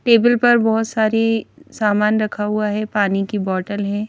Table पर बहुत सारी सामान रखा हुआ है पानी की बोटल है ।